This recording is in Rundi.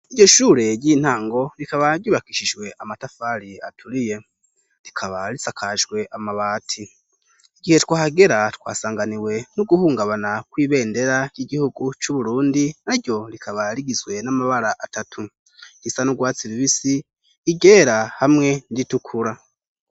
Iryo shure ry'intango rikaba ryubakishijwe amatafari aturiye rikaba risakajwe amabati igihe twahagera twasanganiwe no guhungabana kw'ibendera ry'igihugu c'uburundi na ryo rikaba rigizwe n'amabara atatu gisa nu rwatsi rubisi, iryera hamwe nir'itukura.